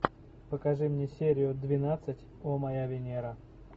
покажи мне серию двенадцать о моя венера